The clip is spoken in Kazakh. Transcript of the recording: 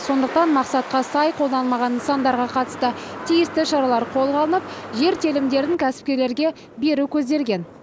сондықтан мақсатқа сай қолданылмаған нысандарға қатысты тиісті шаралар қолға алынып жер телімдерін кәсіпкерлерге беру көзделген